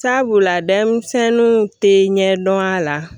Sabula denmisɛnninw tɛ ɲɛ dɔn a la